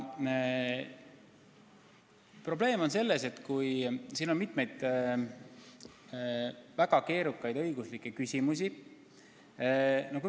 Probleem on selles, et siin on mitmeid väga keerukaid õiguslikke küsimusi.